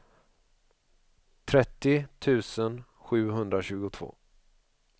trettio tusen sjuhundratjugotvå